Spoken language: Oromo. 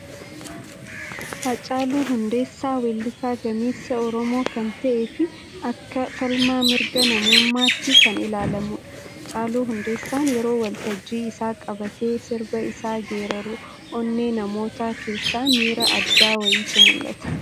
Hacaaluu Hundeessaa, weellisaa gameessa Oromoo kan ta'ee fi akka falmaa mirga namummaatti kan ilaalamudha. Hacaaluu Hundeessaan yeroo waltajjii isaa qabatee, sirba isaa geeraru onnee namootaa keessa miira addaa wayiitu mul'ata.